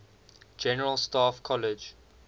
general staff college